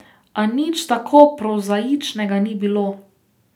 A nič tako prozaičnega ni bilo.